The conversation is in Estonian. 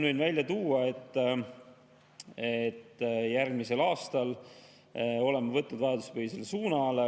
Võin välja tuua, et järgmisel aastal võtame vajaduspõhise suuna.